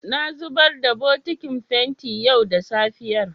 Na zubar da bokitin fenti yau da safiyar.